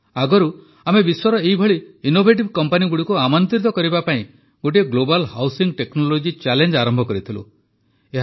ଆଗରୁ ଆମେ ବିଶ୍ୱର ଏଭଳି ଇନ୍ନୋଭେଟିଭ କମ୍ପାନୀଗୁଡ଼ିକୁ ଆମନ୍ତ୍ରିତ କରିବା ପାଇଁ ଗୋଟିଏ ଗ୍ଲୋବାଲ୍ ହାଉସିଂ ଟେକ୍ନୋଲୋଜି ଚ୍ୟାଲେଞ୍ଜ ଆରମ୍ଭ କରିଥିଲୁ